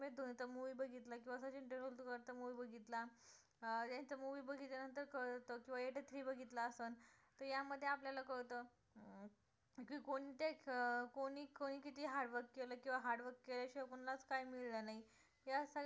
movie बघितला त्यांचा movie बघितल्या नंतर कळतं किंवा बघितला असेल तर या मध्ये आपल्याला कळतं की कोणते अं कोणी कोणी किती hard work केलं किंवा hard work केल्या शिवाय कोणालाच काही मिळालं नाही